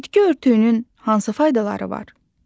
Bitki örtüyünün hansı faydaları var?